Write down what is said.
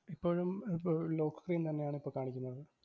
ഇപ്പോഴും lock screen തന്നെയാണിപ്പം കാണിക്കുന്നത്.